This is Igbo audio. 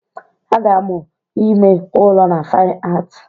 A ga-amụ ime ụrọ na Fine Art